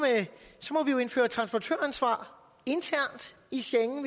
og vi jo indføre transportøransvar internt i schengen